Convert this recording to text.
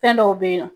Fɛn dɔw be yen nɔ